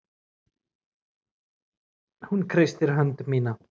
Hún kreistir hönd mína.